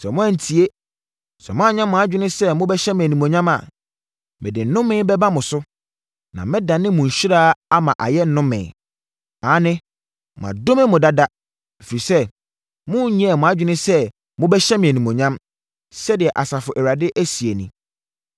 Sɛ moantie, sɛ moannyɛ mo adwene sɛ mobɛhyɛ me animuonyam a, mede nnome bɛba mo so, na mɛdane mo nhyira ama ayɛ nnome. Aane, madome mo dada, ɛfiri sɛ monyɛɛ mo adwene sɛ mobɛhyɛ me animuonyam, sɛdeɛ Asafo Awurade seɛ nie.